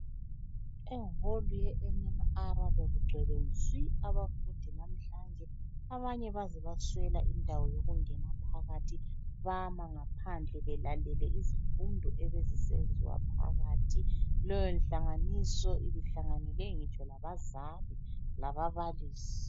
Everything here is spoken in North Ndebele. Eholu yeMMR bekugcweke nsi abafundi namhlanje abanye baze baswela indawo yokungena phakathi. Bama ngaphandle belale izifundo ebezinsenziwa ngaphandle. Leyonhlanganiso ibihlanganele ngitsho labazali lababalisi.